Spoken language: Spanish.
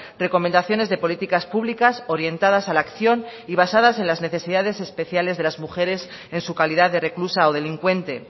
recomendaciones de políticas públicas orientadas a la acción y basadas en las necesidades especiales de las mujeres en su calidad de reclusa o delincuente